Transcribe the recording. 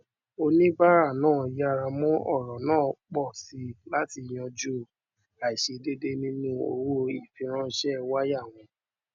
oníbàrà náà yára mú ọrọ náà pọ sí láti yanju àìṣèdèédé nínú owó ìfiránṣé waya wọn